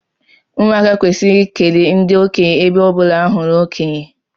Ụmụaka kwesiri ikele ndi okenye ebe ọbụla ha hụrụ okonye